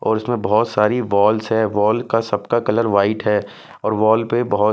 और इसमें बहुत सारी वॉल्स है वॉल का सबका कलर वाइट है और वॉल पे बहुत.